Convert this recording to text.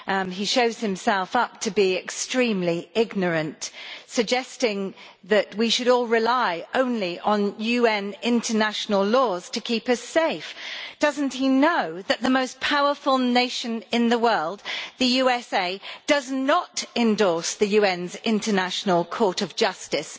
He shows himself up to be extremely ignorant, suggesting that we should all rely only on UN international laws to keep us safe. Does he not know that the most powerful nation in the world, the USA, does not endorse the UN's International Court of Justice?